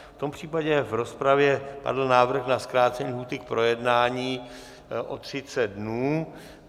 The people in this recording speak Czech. V tom případě v rozpravě padl návrh na zkrácení lhůty k projednání o 30 dnů.